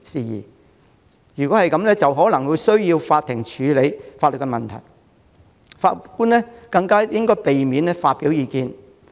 所以，就法庭可能需要處理的法律問題，法官應避免發表意見。